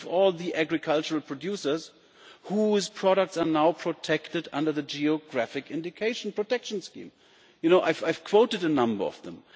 Think of all the agricultural producers whose products are now protected under the geographic indication protection scheme. I have quoted a number of them.